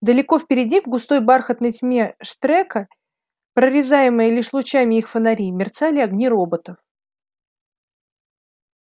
далеко впереди в густой бархатной тьме штрека прорезаемой лишь лучами их фонарей мерцали огни роботов